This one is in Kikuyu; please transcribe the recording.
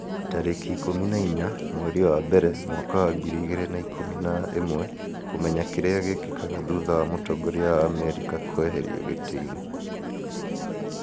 tarĩki ikũmi na inya mweri wa mbere mwaka wa ngiri igĩrĩ na ikũmi na ĩmweKũmenya kĩrĩa gĩkĩkaga thutha wa mũtongoria wa Amerika kũeherio gĩtĩ-inĩ